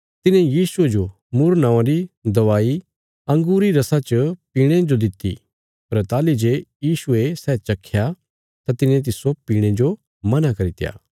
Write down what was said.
तिन्हे यीशुये जो मुर्र नौआं री दवाई अंगूरी रसा च पीणे जो दित्ति पर ताहली जे यीशुये सै चख्या तां तिने तिस्सो पीणे जो मना करित्या